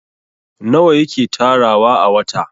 nawa yake tarawa a wata?